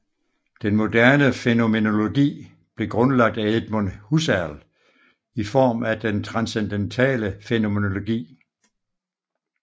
Den moderne fænomenologi blev grundlagt af Edmund Husserl i form af den transcendentale fænomenologi